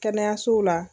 Kɛnɛyasow la